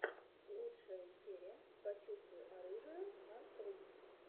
лучшая серия почувствуй оружие гансрум